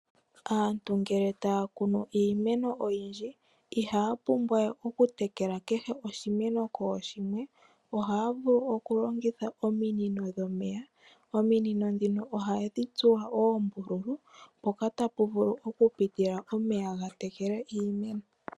Aantu ngele taya kunu iimeno oyindji, ihaya pumbwa we okutekela oshimeno kooshimwe. Ohaya vulu okulongitha ominino dhomeya, ominino ndhino ohadhi tsuwa oombululu mpoka tapu vulu okupitila omeya gatekele iimeno.